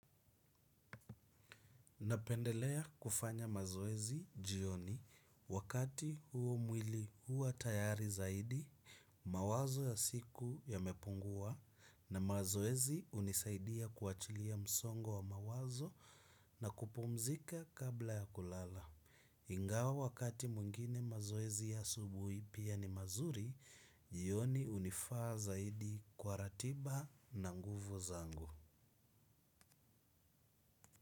Napendelea kufanya mazoezi jioni wakati huo mwili huwa tayari zaidi, mawazo ya siku ya mepungua na mazoezi unisaidia kuachilia msongo wa mawazo na kupumzika kabla ya kulala. Ingawa wakati mwingine mazoezi ya asubuhi pia ni mazuri, jioni unifaa zaidi kwa ratiba na nguvu zangu.